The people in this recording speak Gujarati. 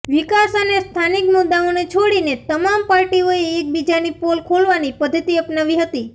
વિકાસ અને સ્થાીનિક મુદ્દાઓને છોડીને તમામ પાર્ટીઓએ એકબીજાની પોલ ખોલવાની પદ્ધતિ અપનાવી હતી